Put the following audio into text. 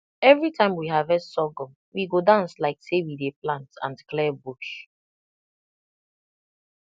every time we harvest sorghum we go dance like say we dey plant and clear bush